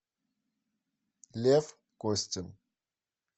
лев костин